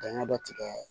Dingɛ dɔ tigɛ